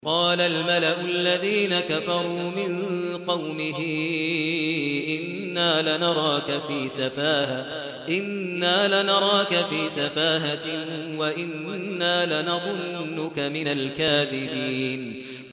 قَالَ الْمَلَأُ الَّذِينَ كَفَرُوا مِن قَوْمِهِ إِنَّا لَنَرَاكَ فِي سَفَاهَةٍ وَإِنَّا لَنَظُنُّكَ مِنَ الْكَاذِبِينَ